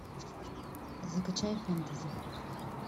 закачай фэнтези